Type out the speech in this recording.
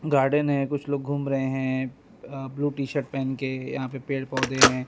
Garden है कुछ लोग घूम रहे है अ ब्ल्यू टी शर्ट पहेन के यहां पे पेड़ पौधे है।